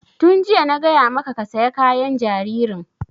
Tun jiya na gaya maka ka saya kayan jaririn!